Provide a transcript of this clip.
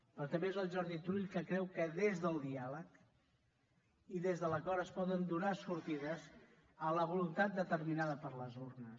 però també és el jordi turull que creu que des del diàleg i des de l’acord es poden donar sortides a la voluntat determinada per les urnes